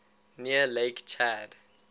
near lake chad